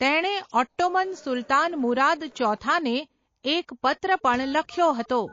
તેણે ઓટ્ટોમન સુલતાન મુરાદ ચોથા ને એક પત્ર પણ લખ્યો હતો.